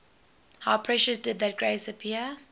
how precious did that grace appear